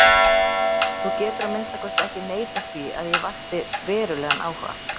Þú getur að minnsta kosti ekki neitað því að ég vakti verulegan áhuga.